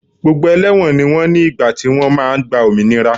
Gbogbo ẹlẹ́wọ̀n ni wọ́n ní ìgbà tí wọ́n máa gba òmìnira